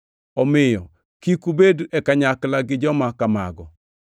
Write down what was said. Omiyo kik ubed e kanyakla gi joma kamago.